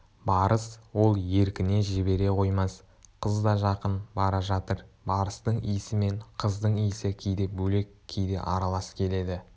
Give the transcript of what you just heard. барыс ол еркіне жібере қоймас қыз да жақын бара жатыр барыстың исі мен қыздың иісі кейде бөлек кейде аралас келеді